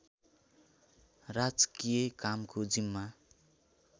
राजकीय कामको जिम्मा